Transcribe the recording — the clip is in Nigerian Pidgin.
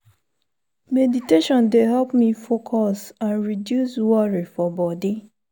meditation dey help me focus and reduce worry for body.